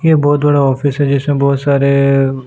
ये बहुत बड़ा ऑफिस है जिसमें बहुत सारे --